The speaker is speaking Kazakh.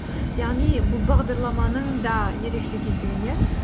яғни бұл бағдарламаның да ерекше екендігін иә